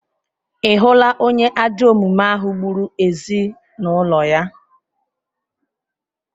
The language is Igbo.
Ị hụla onye ajọ omume ahụ gburu ezinụlọ ya?